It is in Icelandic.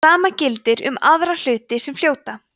sama gildir um aðra hluti sem fljóta